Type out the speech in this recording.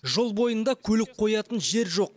жол бойында көлік қоятын жер жоқ